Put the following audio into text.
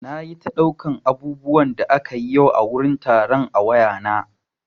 Nayi ta ɗaukar abubuwan da akayi yau a wurin taron a wayana.